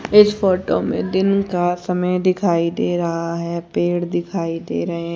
इस फोटो में दिन का समय दिखाई दे रहा है पेड़ दिखाई दे रहे--